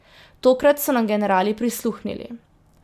Tokrat so nam generali prisluhnili.